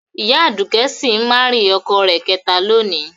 Ìyá Aduke si marying ọkọ rẹ̀ kẹta lónìí